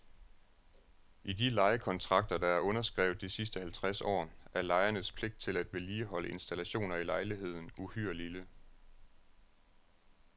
I de lejekontrakter, der er underskrevet de sidste halvtreds år, er lejernes pligt til at vedligeholde installationer i lejligheden uhyre lille.